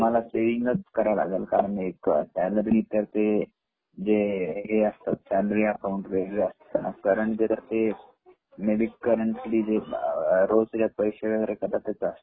तुम्हाला सेविंग च कराव लागलं कारण एक सँलरीच ते जे हे असतं सँलरी अकाऊंट वेगळे असत करंट जे असत मे बी करंट रोज त्याच्यात पैसे कटत असता.